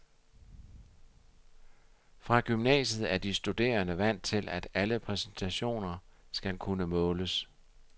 Fra gymnasiet er de studerende vant til, at alle præstationer skal kunne måles.